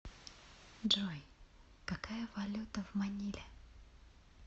джой какая валюта в маниле